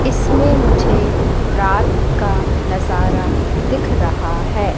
इसमें मुझे रात का नजारा दिख रहा हैं।